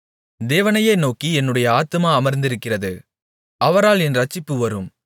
தேவனையே நோக்கி என்னுடைய ஆத்துமா அமர்ந்திருக்கிறது அவரால் என் இரட்சிப்பு வரும்